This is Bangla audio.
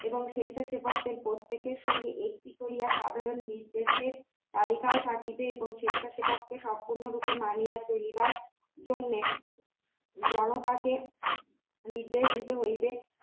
এবং স্বেচ্ছাসেবকদের প্রত্যেকের সঙ্গে একটি করিয়া সাধারণ নির্দেশের তালিকাও থাকিবে এবং স্বেচ্ছাসেবক সম্পূর্ণরূপে মানিয়া চলিবার জন্যে জনতাকে নির্দেশ দিতে হইবে